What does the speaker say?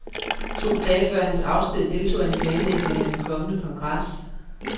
To dage før hans afsked deltog han i planlægningen af den kommende kongres.